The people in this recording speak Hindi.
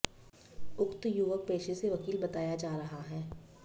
उक्त युवक पेशे से वकील बताया जा रहा है